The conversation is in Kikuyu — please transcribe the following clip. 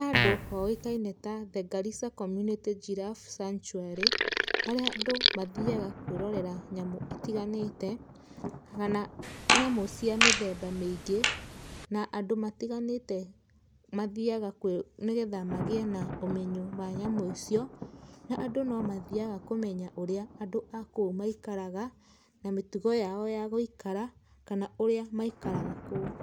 Nĩ handũ hoĩkaine ta The Garissa Community Giraffe Santuary, harĩa andũ mathiaga kwĩrorera nyamũ itiganĩte, kana nyamũ cia mĩthemba mĩingĩ, na andũ matiganĩte mathiaga nĩ getha magiĩ na ũmenyo wa nyamũ icio, na andũ no mathiaga kũmenya ũrĩa andũ a kũu maikaraga, na mĩtugo yao ya gũikara, kana ũrĩa maikaraga kũu.